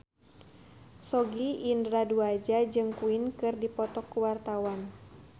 Sogi Indra Duaja jeung Queen keur dipoto ku wartawan